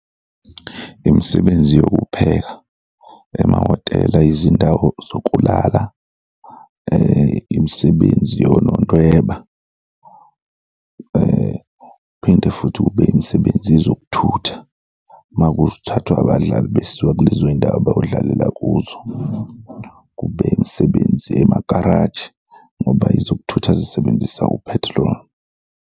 Imisebenzi yokupheka emahotela, izindawo zokulala, imisebenzi yonondweba phinde futhi kube imisebenzi yezokuthutha, ma kuthathwa abadlali besiwa kulezo zindawo bayodlalela kuzo, kube imisebenzi emagaraji ngoba ezokuthutha zisebenzisa u-petrol.